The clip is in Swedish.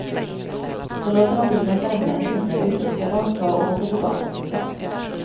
Så låter hon bilen vänta en timme, uträttar vad hon ska och åker tillbaka till stan.